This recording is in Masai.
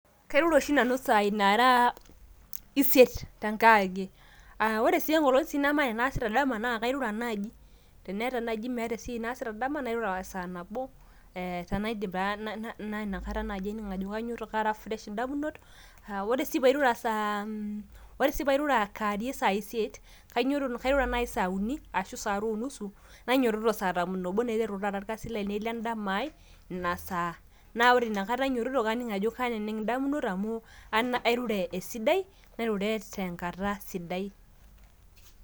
kairura oshi nanu isaai naara isiet tenkewarie, ore sii enkolong nemeeta enaasita dama naa kairura, naaji, meeta esiai naasita dama nairura, saa nabo tenaidip taa, kainyitoto aara fresh idamunot, ee ore sii pee airura kaarie isaai isiet, kairura naaji saa isiet ashu saa are o nusu, nainyiototo saa tomon oobo, naiteru taa irkasin le dama ai ina saaa, naa ore inakata ainyiotot, kaning' ajo, kaaneneng' idamunot amu, airure esidai, nairure te nkata sidai.